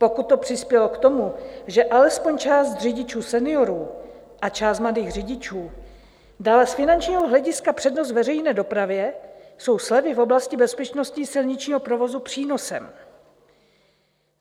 Pokud to přispělo k tomu, že alespoň část řidičů seniorů a část mladých řidičů dala z finančního hlediska přednost veřejné dopravě, jsou slevy v oblasti bezpečnosti silničního provozu přínosem.